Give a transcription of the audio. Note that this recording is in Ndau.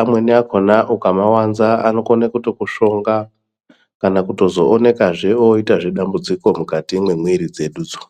amweni akhona ukamawanza anokhone kutokushonga kana kutozo wonekwa zvo woyita dambudziko mukati memwiri dzedu idzo.